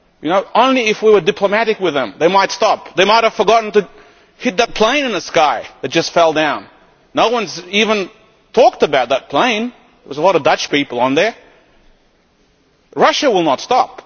If only we were diplomatic with them, they might stop. They might have forgotten to hit that plane in the sky that just fell down. No one has even talked about that plane. There were a lot of Dutch people on it. Russia will not